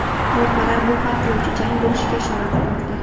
Voqealar bu hal qiluvchi jang bo‘lishiga ishora qilmoqda.